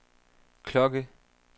klokke